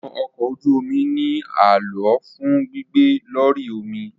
Awọn ọkọ oju omi ni a lo fun gbigbe lori omi